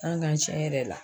An kan tiɲɛ yɛrɛ la